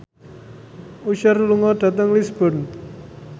Usher lunga dhateng Lisburn